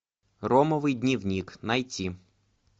ромовый дневник найти